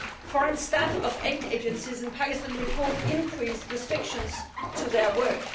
Foreign staff of aid agencies in Pakistan report increased restrictions on their work.